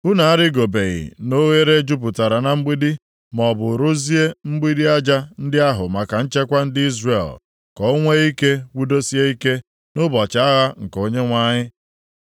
Unu arịgobeghị na oghere jupụtara na mgbidi maọbụ rụzie mgbidi aja ndị ahụ maka nchekwa ndị Izrel ka o nwee ike kwudosie ike nʼụbọchị agha nke Onyenwe anyị.